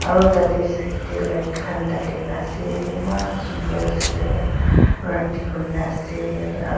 aro tateu side dae light khan dhalena ase eman sundur ase rati hoina ase aro.